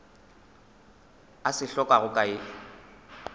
a se hlokago ka ye